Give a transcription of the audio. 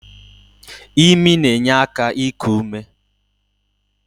Imi na-enye aka iku ume.